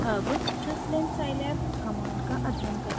अब syslin scilab command का अध्ययन करते हैं